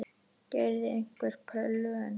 Gerirðu einhver plön?